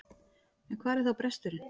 En hvar er þá bresturinn?